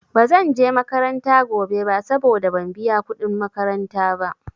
Ba zanje makaranta gobe ba saboda ban biya kuɗin makaranta ba.